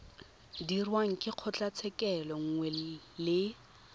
dirwang ke kgotlatshekelo nngwe le